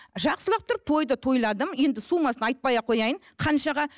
жақсылап тұрып тойды тойладым енді суммасын айтпай ақ қояйын қаншаға